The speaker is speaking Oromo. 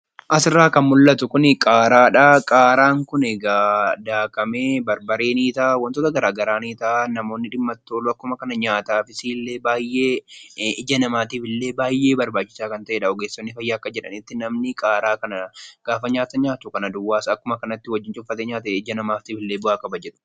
Asirraa kan mul'atu kun qaaraadha. Qaaraan kun egaa daakamee barbaree ni ta'a namoonni akkasuma nyaataafis illee ija namaatiifis illee barbachisaa kan ta'edha akka ogeessonni fayyaa jedhanitti. Namni qaaraa kana gaafa nyaatu ija namaatiifis ille bu'aa qaba.